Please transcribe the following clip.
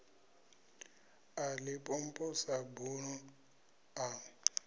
ḽa limpopo sa buḓo ḽa